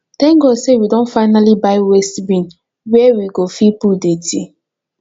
thank god say we don finally buy waste bin wey we go fit put dety